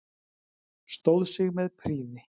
Stóð sig með prýði.